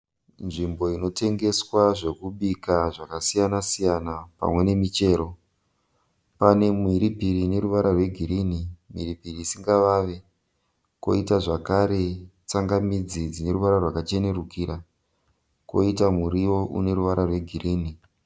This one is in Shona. Nzvimbo inotengeswa zvokubika zvakasiyana siyana pamwe nemichero. Pane mhiripiri ine ruvara rwegirini mhiripiri isingavave, koiita zvakare tsangamidzi dzine ruvara rwakachenurukira, koiita muriwo une ruvara rwegirini.